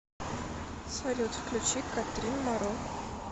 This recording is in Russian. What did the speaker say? салют включи катрин моро